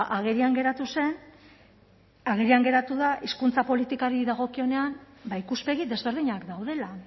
agerian geratu zen agerian geratu da hizkuntza politikari dagokionean ba ikuspegi desberdinak daudela